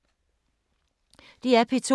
DR P2